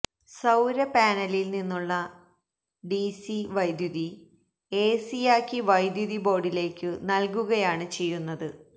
സൌരപാനലിൽ നിന്നുള്ള ഡിസി വൈദ്യുതി എസിയാക്കി വൈദ്യുതി ബോർഡിലേക്കു നൽകുകയാണ് ചെയ്യുന്നത്